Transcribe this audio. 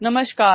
audio